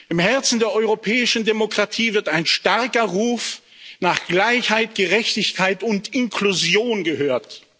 Im Herzen der europäischen Demokratie wird ein starker Ruf nach Gleichheit, Gerechtigkeit und Inklusion gehört.